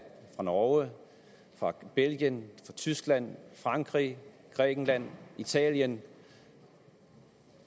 norge belgien tyskland frankrig grækenland italien